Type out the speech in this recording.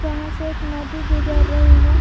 यहां से एक नदी गुजर रही है।